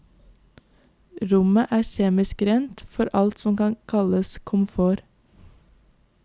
Rommet er kjemisk rent for alt som kan kalles komfort.